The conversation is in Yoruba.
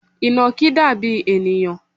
Ìnàkí dàbí ènìyàn